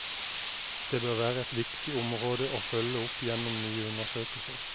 Det bør være et viktig område å følge opp gjennom nye undersøkelser.